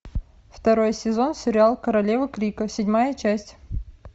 второй сезон сериал королева крика седьмая часть